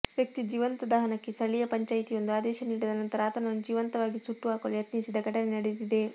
ವ್ಯಕ್ತಿಯ ಜೀವಂತ ದಹನಕ್ಕೆ ಸ್ಥಳೀಯ ಪಂಚಾಯಿತಿಯೊಂದು ಆದೇಶ ನೀಡಿದ ನಂತರ ಆತನನ್ನು ಜೀವಂತವಾಗಿ ಸುಟ್ಟು ಹಾಕಲು ಯತ್ನಿಸಿದ ಘಟನೆ ನಡೆದಿದೆ